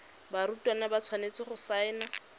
barutwana ba tshwanetse go saena